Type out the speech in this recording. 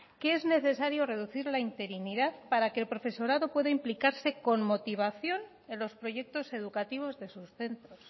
que es necesario reducir la interinidad para que el profesorado pueda implicarse con motivación en los proyectos educativos de sus centros